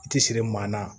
I ti siri maa na